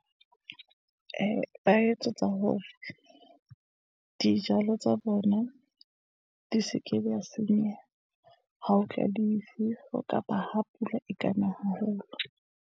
Ee, ba etsetsa hore dijalo tsa bona di se ke di ya senyeha. Ha ho tla difefo, kapa ha pula e kana haholo.